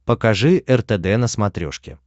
покажи ртд на смотрешке